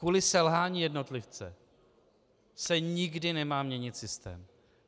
Kvůli selhání jednotlivce se nikdy nemá měnit systém.